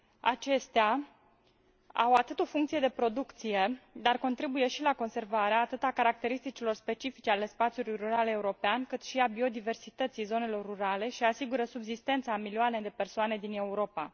Acestea au o funcție de producție, dar contribuie și la conservarea atât a caracteristicilor specifice ale spațiului rural european, cât și a biodiversității zonelor rurale și asigură subzistența a milioane de persoane din Europa.